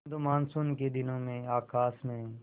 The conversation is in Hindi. किंतु मानसून के दिनों में आकाश में